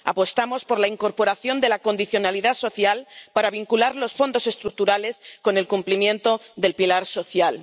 Apostamos por la incorporación de la condicionalidad social para vincular los Fondos Estructurales con el cumplimiento del pilar social.